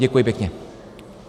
Děkuji pěkně.